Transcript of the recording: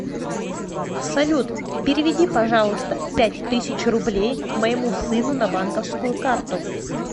салют переведи пожалуйста пять тысяч рублей моему сыну на банковскую карту